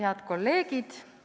Head kolleegid!